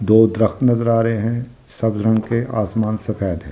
दो दरख्त नजर आ रहे हैं सब्ज रंग के आसमान सफेद है।